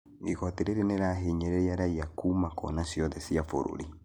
Igoti rĩrĩ nĩrĩrahinyĩrĩria raia kuma kona ciothe cia bũrũri